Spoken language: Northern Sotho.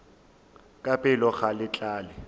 la pelo ga le tlale